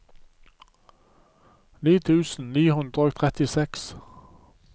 ni tusen ni hundre og trettiseks